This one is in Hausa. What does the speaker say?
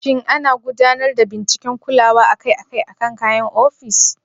Shin ana gudanar da binciken kulawa akai-akai akan kayan ofis?